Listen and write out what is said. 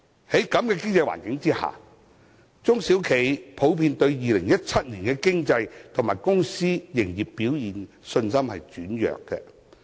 在此經濟環境下，中小企普遍對2017年的經濟及公司營業表現的信心轉弱。